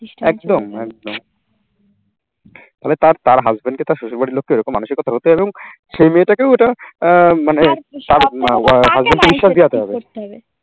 একদম। তবে তার তার husband কে, তার শ্বশুরবাড়ির লোককে এরকম মানসিকতা হতো এবং সেই মেয়ে টা কেও আহ মানে